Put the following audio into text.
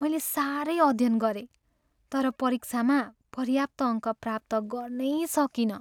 मैले साह्रै अध्ययन गरेँ तर परीक्षामा पर्याप्त अङ्क प्राप्त गर्नै सकिनँ।